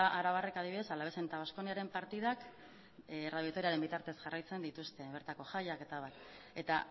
arabarrek adibidez alaves eta baskoniaren partidak radio vitoriaren bitartez jarraitzen dituzte bertako jaiak etab eta